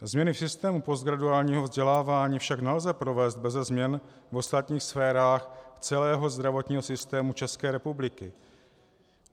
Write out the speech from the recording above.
Změny v systému postgraduálního vzdělávání však nelze provést beze změny v ostatních sférách celého zdravotního systému České republiky.